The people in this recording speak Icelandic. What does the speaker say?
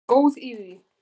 Góð í því!